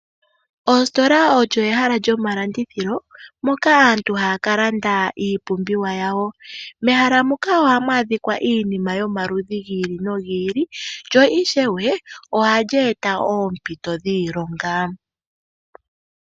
Ositola oyo ehala lyomalandithilo moka aantu ha ya ka landa iipumbiwa yawo. Mehala muka oha mu adhikwa iinima yomaludhi gi ili nogi ili, lyo ishewe oha li eta oompito dhiilonga.